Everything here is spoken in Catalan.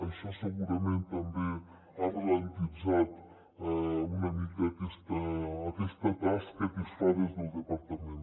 això segurament també ha alentit una mica aquesta tasca que es fa des del departament